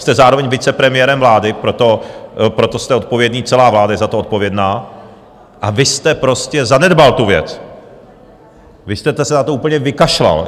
Jste zároveň vicepremiérem vlády, proto jste odpovědný, celá vláda je za to odpovědná, a vy jste prostě zanedbal tu věc, vy jste se na to úplně vykašlal.